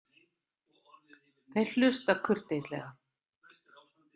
Þeir hlusta kurteislega.